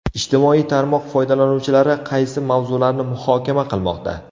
Ijtimoiy tarmoq foydalanuvchilari qaysi mavzularni muhokama qilmoqda?.